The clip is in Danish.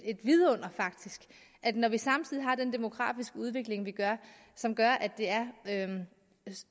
vidunder når vi har en demografisk udvikling som gør at det er